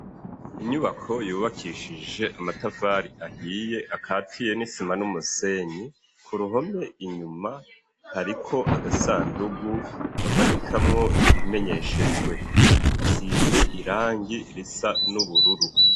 Inyubako yubakishije amatafari ahiye akatiye n'isima n'umusenyi. Ku ruhome inyuma hariko agasandugu bamanikamwo ibimenyeshejwe. Hasize irangi risa n'ubururu.